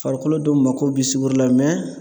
Farikolo dɔw mako bi sugɔro la